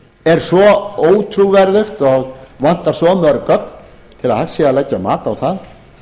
er svo ótrúverðugt og vantar svo mörg gögn til að hægt sé að leggja mat á það